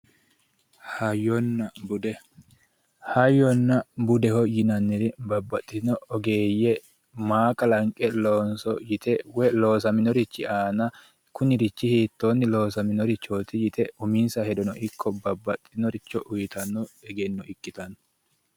Hayyonna bude, hayyonna budeho yinnanniri babbaxitinotta ogeeye maa kalanqe loonso yite woyi loossaminorichi aana kunnirichi hiittonni loosaminoreti yite uminsa hedono ikko babbaxinoricho uyittano egenno ikkittano.